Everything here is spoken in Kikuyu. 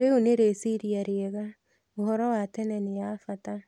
Rĩu nĩ rĩciria rĩega. ũhoro wa tene nĩ ya bata.